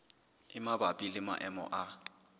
e mabapi le maemo a